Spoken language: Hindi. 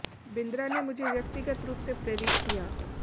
बिंद्रा ने मुझे व्यक्तिगत रूप से प्रेरित किया